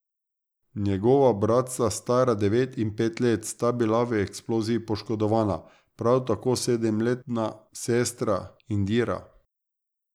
Njegova bratca, stara devet in pet let, sta bila v eksploziji poškodovana, prav tako sedemletna sestra Indira.